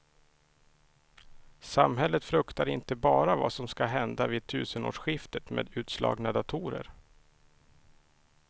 Samhället fruktar inte bara vad som ska hända vid tusenårsskiftet med utslagna datorer.